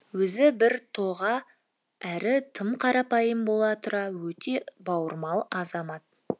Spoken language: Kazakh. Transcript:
өзі біртоға әрі тым қарапайым бола тұра өте бауырмал азамат